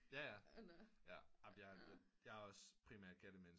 Jaja men jeg er også primært kattemenneske